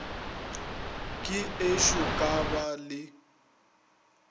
ke ešo ka ba le